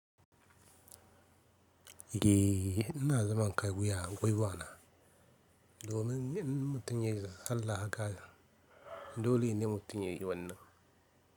Ye, ina zaman kai wuya gwiwana domin in mutum ya yi sallah haka dole ne mutum ya yi wannan.